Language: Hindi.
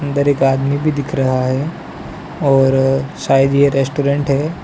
उधर एक आदमी भी दिख रहा है और शायद ये रेस्टोरेंट है।